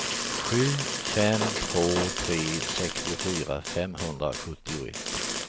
sju fem två tre sextiofyra femhundrasjuttioett